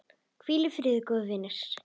Hvíl í friði, góði vinur.